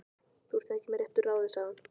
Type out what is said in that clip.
Þú ert ekki með réttu ráði, sagði hann.